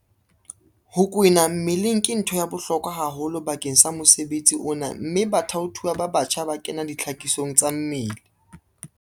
Ho kwena mmeleng ke ntho ya bohlokwa haholo bakeng sa mosebetsi ona mme bathaothuwa ba batjha ba kena ditlhakisong tsa mmele.